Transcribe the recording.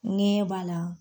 Ŋɛɲɛ b'a la.